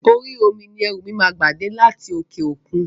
Orí omi ni ẹrú mi máa gba dé láti òkè òkun.